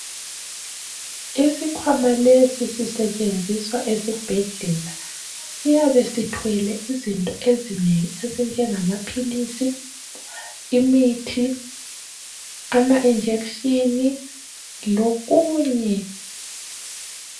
Isikhwama lesi sisetshenziswa esibhedlela siyabe sithwele izinto ezinengi ezinjengamaphilisi imithi amajekiseni lokunye.